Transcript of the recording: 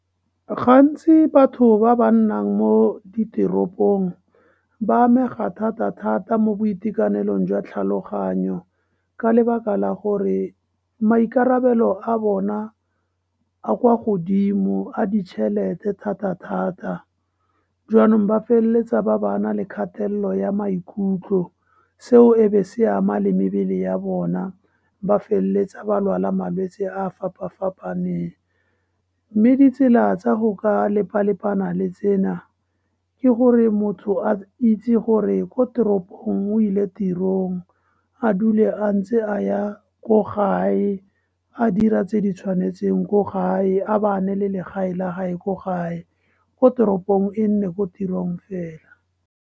Gantsi batho ba ba nnang mo diteropong ba amega thata-thata mo boitekanelong jwa tlhaloganyo ka lebaka la gore maikarabelo a bona a kwa godimo, a ditšhelete thata-thata. Jaanong ba feleletsa ba ba na le kgatelelo ya maikutlo, seo e be se ama le mebele ya bona. Ba feleletsa ba lwala malwetse a fapafapaneng. Mme ditsela tsa go ka lepa-lepana le tsena ke gore motho a itse gore ko teropong o ile tirong, a dule a ntse a ya ko gae, a dira tse di tshwanetseng ko gae, a ba ne le legae la gae ko gae, ko teropong e nne ko tirong fela.